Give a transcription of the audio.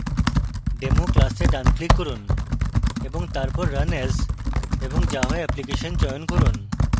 demo class ডান click run এবং তারপর run as> java application চয়ন run